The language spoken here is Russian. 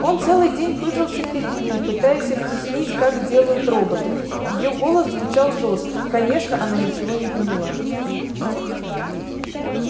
он целый день пыжился перед ней пытаясь объяснить как делают роботов её голос зазвучал жёстко конечно она ничего не поняла